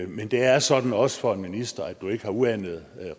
det er sådan også for en minister at man ikke har uanede